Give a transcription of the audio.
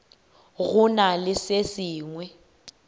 go na le se sengwe